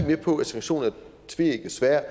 med på at sanktioner er et tveægget sværd